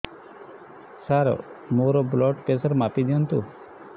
ସାର ମୋର blood pressure ମାପି ଦିଅନ୍ତୁ